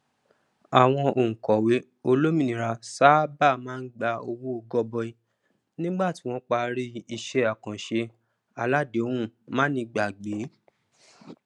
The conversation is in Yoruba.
àwọn onkòwe olómìnira sáábà máa gba owó gọbọi nígbà tí wọn parí isẹ àkànṣe aládéhùn manígbàgbé